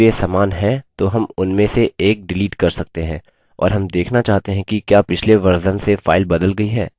और हम देखना चाहते हैं कि क्या पिछले version से file बदल गई है